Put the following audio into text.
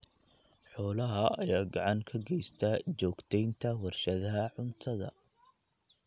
Xoolaha ayaa gacan ka geysta joogteynta warshadaha cuntada.